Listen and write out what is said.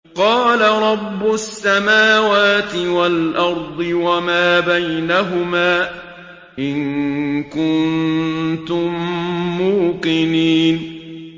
قَالَ رَبُّ السَّمَاوَاتِ وَالْأَرْضِ وَمَا بَيْنَهُمَا ۖ إِن كُنتُم مُّوقِنِينَ